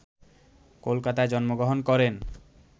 কলকাতায় জন্মগ্রহণ করেন